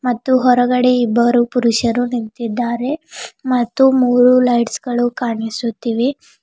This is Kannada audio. ಹೊರಗಡೆ ಇಬ್ಬರು ಪುರುಷರು ನಿಂತಿದ್ದಾರೆ ಮತ್ತು ಮೂರು ಲೈಟ್ಸ್ ಗಳು ಕಾಣಿಸುತ್ತಿವೆ.